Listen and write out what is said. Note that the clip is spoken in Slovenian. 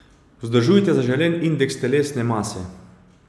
Vzdržujte zaželen indeks telesne mase.